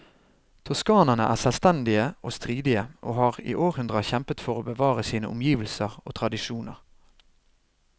Toskanerne er selvstendige og stridige, og har i århundrer kjempet for å bevare sine omgivelser og tradisjoner.